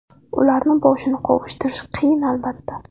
Ularni boshini qovushtirish qiyin, albatta.